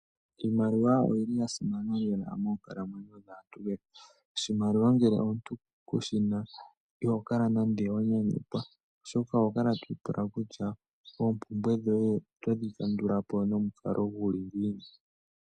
Iimaliwa oyili ya simana moonkalamwenyo dhaantu oshimaliwa ngele omuntu kushina iho kala nande wa nyanyukwa oshoka oho kala twi ipula kutya oompumbwe dhoye oto dhi kandula po nomukalo guli ngiini.